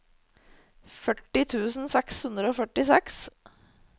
førti tusen seks hundre og førtiseks